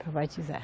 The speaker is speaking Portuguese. Para batizar.